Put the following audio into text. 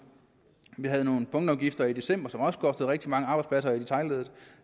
vi havde nogle punktafgifter i december som også kostede rigtig mange arbejdspladser i detailleddet